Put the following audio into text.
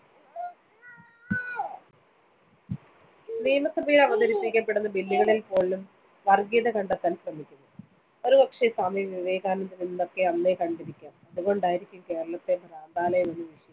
നിയമസഭയിൽ അവതരിപ്പിക്കപ്പെടുന്ന bill കളിൽപോലും വർഗീയത കണ്ടെത്താൻ ശ്രമിക്കുന്നു. ഒരുപക്ഷേ, സ്വാമി വിവേകാനന്ദൻ ഇതൊക്കെ അന്നേ കണ്ടിരിക്കാം. അതുകൊണ്ടായിരിക്കാം കേരളത്തെ ഭ്രാന്താലയമെന്ന്‌ വിശേഷിപ്പിച്ചത്‌.